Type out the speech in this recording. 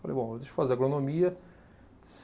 Falei, bom, deixa eu fazer agronomia.